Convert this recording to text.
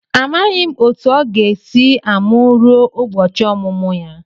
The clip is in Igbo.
Amaghị m otu o ga-esi amụ ruo ụbọchị ọmụmụ ya.